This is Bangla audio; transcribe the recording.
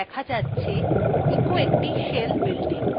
output থেকে দেখা যাচ্ছে echo একটি shell bulletin